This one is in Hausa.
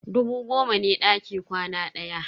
Dubu goma ne daki kwana ɗaya.